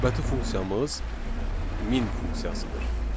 Növbəti funksiyamız min funksiyasıdır.